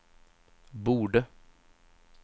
borde